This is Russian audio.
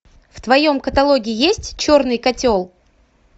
в твоем каталоге есть черный котел